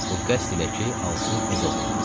Bu qəsd ilə ki, alsın öz oğluna.